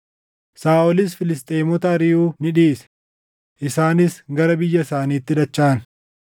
Saaʼolis Filisxeemota ariʼuu ni dhiise; isaanis gara biyya isaaniitti dachaʼan.